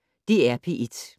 DR P1